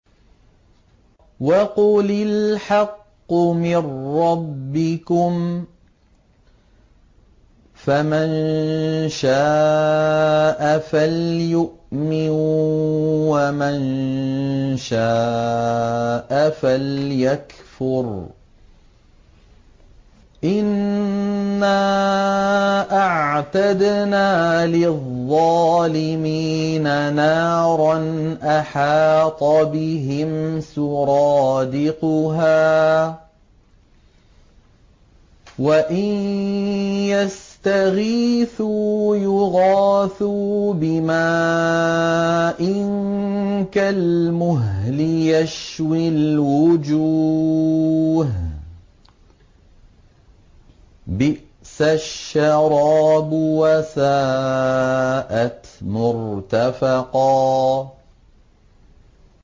وَقُلِ الْحَقُّ مِن رَّبِّكُمْ ۖ فَمَن شَاءَ فَلْيُؤْمِن وَمَن شَاءَ فَلْيَكْفُرْ ۚ إِنَّا أَعْتَدْنَا لِلظَّالِمِينَ نَارًا أَحَاطَ بِهِمْ سُرَادِقُهَا ۚ وَإِن يَسْتَغِيثُوا يُغَاثُوا بِمَاءٍ كَالْمُهْلِ يَشْوِي الْوُجُوهَ ۚ بِئْسَ الشَّرَابُ وَسَاءَتْ مُرْتَفَقًا